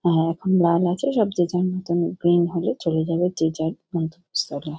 আ এখন বান আছে সব যে যার মতন গ্রীন হলে চলে যাবে যে যার মতো স্থানে।